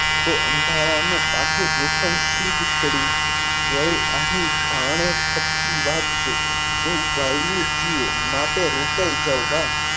તો અંધારાનું કાઠું જોખમસિંહ જોડવું વળી વળી અહીં બાને ખમેલી વાત છે તો ભાઈઓ છીએ એટલે રોકાઈ જવું